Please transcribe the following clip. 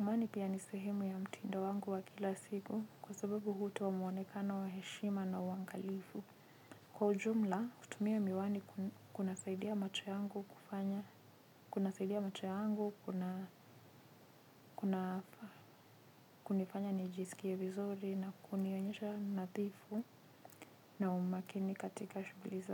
Miwani pia ni sehemu ya mtindo wangu wa kila siku kwa sababu hutoa muonekano wa heshima na uangalifu. Kwa ujumla kutumia miwani kuna saidia macho yangu kufanya kuna saidia macho yangu kuna kunifanya nijisikie vizuri na kunionyesha nadhifu na umakini katika shughuli za.